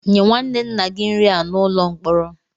Nye nwanne nna gị nri a n'ụlọ mkpọrọ!